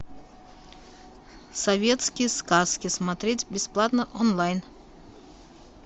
советские сказки смотреть бесплатно онлайн